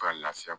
Ka lase